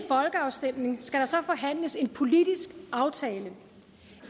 inden skal der så forhandles en politisk aftale